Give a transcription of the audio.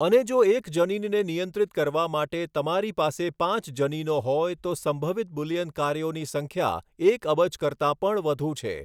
અને જો એક જનીનને નિયંત્રિત કરવા માટે તમારી પાસે પાંચ જનીનો હોય તો સંભવિત બુલિયન કાર્યોની સંખ્યા એક અબજ કરતા પણ વધુ છે.